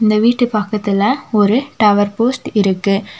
இந்த வீட்டு பக்கத்துல ஒரு டவர் போஸ்ட் இருக்கு.